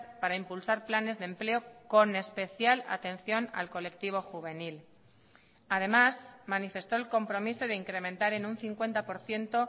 para impulsar planes de empleo con especial atención al colectivo juvenil además manifestó el compromiso de incrementar en un cincuenta por ciento